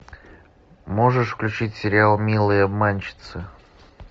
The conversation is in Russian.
можешь включить сериал милые обманщицы